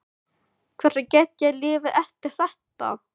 Hvernig get ég lifað eftir þetta?